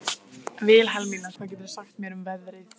Vilhelmína, hvað geturðu sagt mér um veðrið?